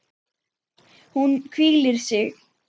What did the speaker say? Hún hvílir sig.